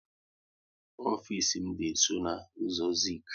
Ofisi m dị nsọ n' ụzọ Zik